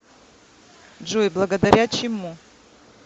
джой благодаря чему